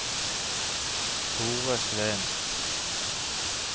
Thore Sveen